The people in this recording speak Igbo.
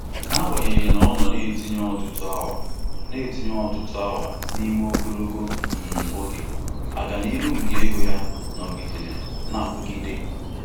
Ka o jisichara ike chekwaba ego ike chekwaba ego n'ime ọnwa ole n'ole, akara kredit ya nọ otu ebe buteere ya obi nkoropụ ego.